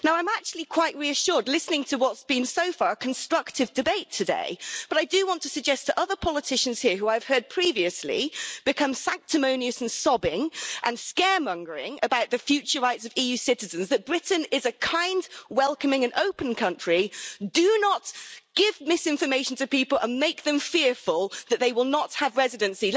Now I'm actually quite reassured listening to what's been a constructive debate so far today, but I do want to suggest other politicians here who I've heard previously become sanctimonious and sobbing and scaremongering about the future rights of EU citizens that Britain is a kind, welcoming and open country. Do not give misinformation to people and make them fearful that they will not have residency.